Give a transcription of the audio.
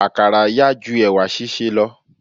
Àkàrà yá ju ẹ̀wà sísè lọ.